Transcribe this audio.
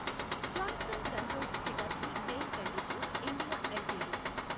Johnson Controls Hitachi A I R condition. India LTD